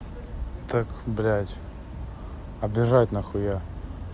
так блядь а бежать нахуя